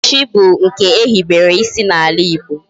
Echichi bu nke ehibere isi na ala Igbo